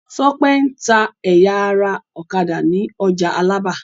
Tọ́pẹ́ ń ta ẹ̀ya ara ọ̀kadà ní ọjà Alábà.